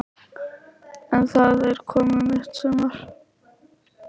En það er komið mitt sumar!